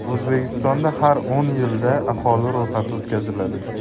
O‘zbekistonda har o‘n yilda aholi ro‘yxati o‘tkaziladi.